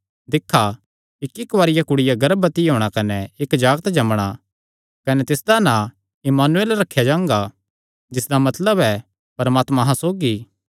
दिक्खा इक्की कुआरिया कुड़िया गर्भवती होणा कने इक्क जागत जम्मणा कने तिसदा नां इम्मानुएल रखेया जांगा जिसदा मतलब ऐ परमात्मा अहां सौगी